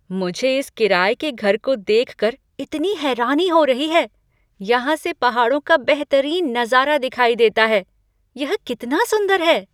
मुझे इस किराये के घर को देखकर इतनी हैरानी हो रही है। यहाँ से पहाड़ों का बेहतरीन नज़ारा दिखाई देता है। यह कितना सुंदर है!